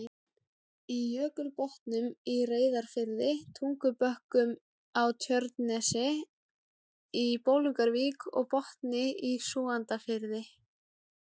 í Jökulbotnum í Reyðarfirði, Tungubökkum á Tjörnesi, í Bolungarvík og Botni í Súgandafirði.